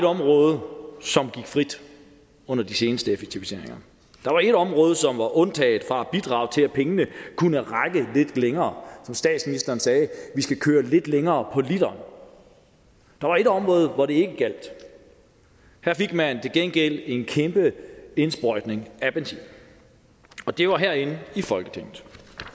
område som gik frit under de seneste effektiviseringer der var ét område som var undtaget fra at bidrage til at pengene kunne række lidt længere som statsministeren sagde vi skal køre lidt længere på literen der var ét område hvor det ikke gjaldt her fik man til gengæld en kæmpe indsprøjtning af benzin det var herinde i folketinget